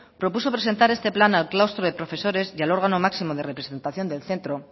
propuso presentar esta plan al claustro de profesores y al órgano máximo de representación del centro